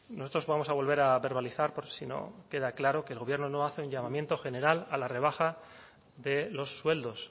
nosotros vamos a volver a verbalizar por si no queda claro que el gobierno no hace un llamamiento general a la rebaja de los sueldos